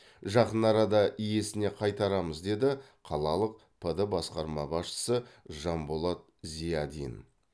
жақын арада иесіне қайтарамыз деді қалалық пд басқарма басшысы жанболат зиядин